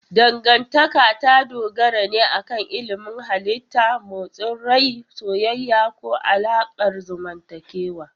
Dangantaka ta dogara ne akan ilimin halitta, motsin rai, soyayya, ko alaƙar zamantakewa.